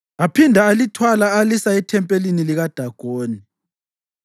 Aphinda alithwala alisa ethempelini likaDagoni.